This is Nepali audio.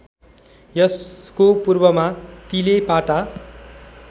यसको पूर्वमा तिलेपाटा